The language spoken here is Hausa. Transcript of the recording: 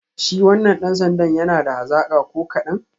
Shi wannan dan sandan yana da hazaka ko kadan?